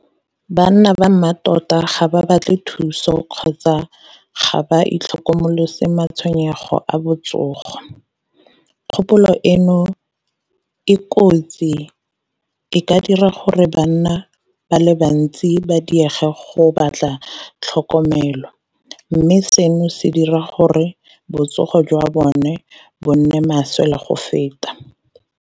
Banna ba mmatota ga ba batle thuso kgotsa ga ba itlhokomolose matshwenyego a botsogo. Kgopolo eno e kotsi e ka dira gore banna ba le bantsi ba diege go batla tlhokomelo, mme seno se dira gore botsogo jwa bone bo nne maswe le go feta.